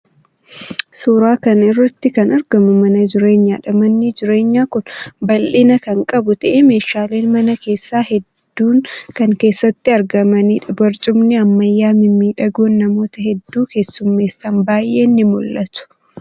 Suuraa kana irratti kan argamu mana jireenyaadha. Manni jireenyaa kun bal'ina kan qabu ta'ee meeshaaleen mana keessaa hedduun kan keessatti argamaniidha. Barcumni ammayyaa mimmiidhagoon namoota hedduu keessummeessan baay'een ni mul'atu.